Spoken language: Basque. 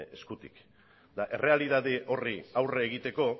eskutik eta errealitate horri aurre egiteko